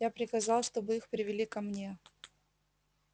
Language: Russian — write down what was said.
я приказал чтобы их привели ко мне